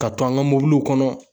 Ka to an ka mobiliw kɔnɔ